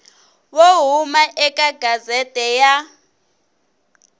wo huma eka gazette ya